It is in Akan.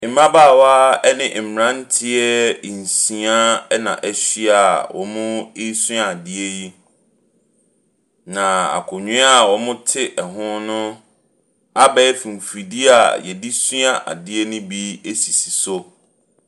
Mmabaawa ne mmranteɛ nsia na ahyia a wɔresua adeɛ yi. Na akonnwa a wɔte ho no, abɛɛfo mfidie a yɛdesua adeɛ no bi sisi so.